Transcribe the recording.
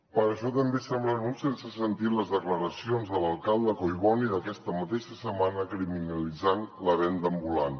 per això també semblen un sensesentit les declaracions de l’alcalde collboni d’aquesta mateixa setmana criminalitzant la venda ambulant